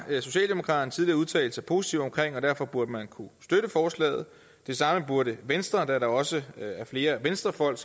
socialdemokraterne tidligere udtalt sig positivt om og derfor burde man kunne støtte forslaget det samme burde venstre kunne da der også er flere venstrefolk